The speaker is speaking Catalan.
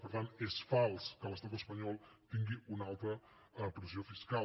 per tant és fals que l’estat espanyol tingui una alta pressió fiscal